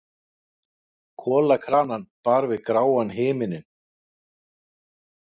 Kolakranann bar við gráan himininn.